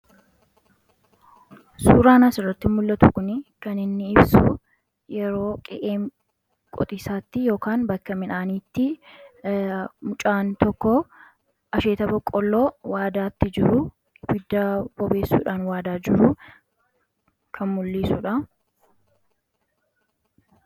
Suuraan asirratti mul'atu kun kan inni ibsu, yeroo qe'ee qotiisaatti yookiin bakka midhaaniitti mucaan tokkoo asheeta boqolloo waadaatti jiruu, ibidda bobeessuudhaan waadaa jiru kan mul'isudha